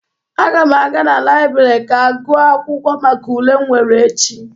Aga m aga na laịbrị ga gụọ akwụkwọ maka ule m nwere echi.